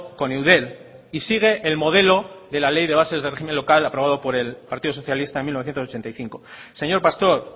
con eudel y sigue el modelo de la ley de bases de régimen local aprobado por el partido socialista en mil novecientos ochenta y cinco señor pastor